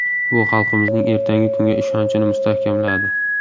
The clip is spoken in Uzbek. Bu xalqimizning ertangi kunga ishonchini mustahkamladi.